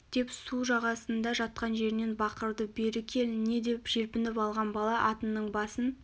деп су жағасында жатқан жерінен бақырды бері кел не деп желпініп алған бала атының басын